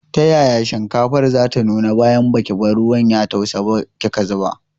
Ta yaya shinkafar zata nuna bayan baki bar ruwan ya tausa ba kika zuba.